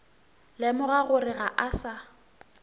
lemoga gore ga a sa